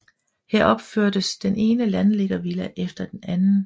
Her opførtes den ene landliggervilla efter den anden